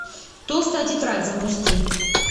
толстая тетрадь запусти